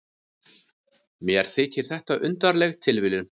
Mér þykir þetta undarleg tilviljun.